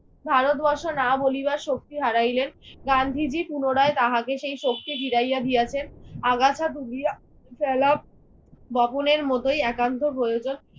ভারতবর্ষ না বলিবার শক্তি হারাইলেন। গান্ধীজি পুনরায় তাহাকে সেই শক্তি ফিরাইয়া দিয়াছেন। আগাছা তুলিয়া ফেলা বপনের মতই একান্ত প্রয়োজন।